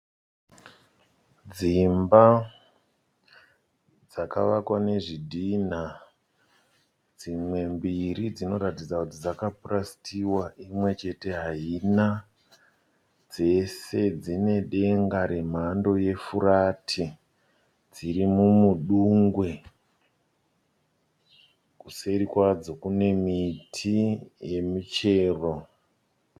Dzimba dzakavakwa nezvidhina, dzimwe mbiri dzinoratidza kuti dzaka purasitiwa imwe chete haina. Dzese dzine denga re mhando re furati dziri mumudungwe. Kuseri kwadzo kune miti yemichero.